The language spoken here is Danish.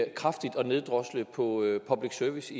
en kraftig neddrosling på public service